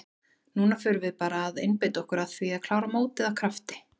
Núna förum við bara að einbeita okkur að því að klára mótið af krafti.